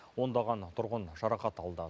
ондаған тұрғын жарақат алды